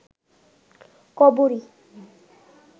কবরী